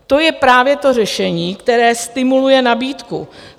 To je právě to řešení, které stimuluje nabídku.